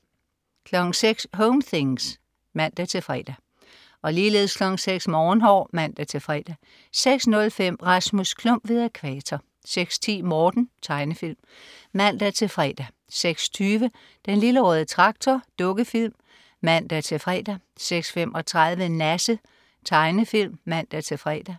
06.00 Home things (man-fre) 06.00 Morgenhår (man-fre) 06.05 Rasmus Klump ved Ækvator 06.10 Morten. Tegnefilm (man-fre) 06.20 Den lille røde Traktor. Dukkefilm (man-fre) 06.35 Nasse. Tegnefilm (man-fre)